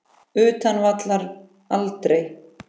Utan vallar: aldrei.